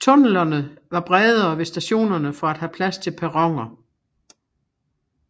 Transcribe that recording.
Tunnelerne var bredere ved stationerne for at have plads til perroner